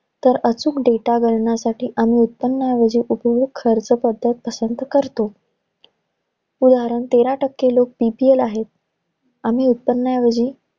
तर अचूक data गणनासाठी आम्ही उत्पन्नाऐवजी उपभोग खर्च पद्धत पसंत करतो. उदाहरण, तेरा टक्के लोक PPL आहेत. आम्ही उत्त्पन्नऐवजी